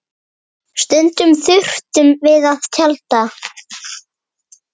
Stundum þurftum við að tjalda.